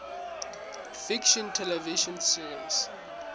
fiction television series